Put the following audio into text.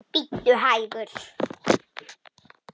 Bíddu hægur.